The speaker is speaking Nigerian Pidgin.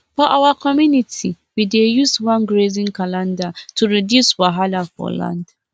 for our community we dey use one grazing calendar to reduce wahala for land